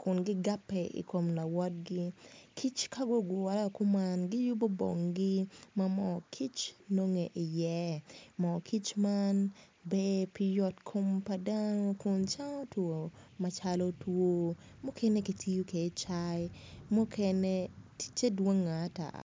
kun gigabe i kum lawotgi kic ka gugure ku man giyubu bonggi ma moo kic nongone iye moo kic man ber pi yotkom pa dano kun cango two macalo two mukene kitiyo kede i cai mukene ticce dwongo ata